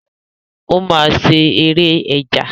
Ó máa ṣe ère ẹja.